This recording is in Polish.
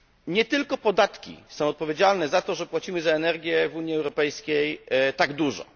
Nie tylko podatki są odpowiedzialne za to, że płacimy za energię w Unii Europejskiej tak dużo.